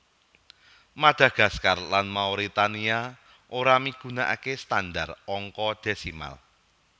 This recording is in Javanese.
Madagaskar lan Mauritania ora migunakaké standar angka desimal